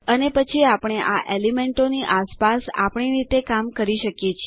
અને પછી આપણે આ એલીમેન્ટો ની આસપાસ આપણી રીતે કામ કરી શકીએ છીએ